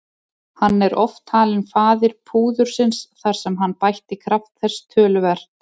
Hann er oft talinn faðir púðursins þar sem hann bætti kraft þess töluvert.